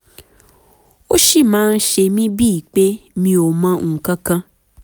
ó ṣì máa ń ṣe mí bíi pé mi ò mọ nǹkan kan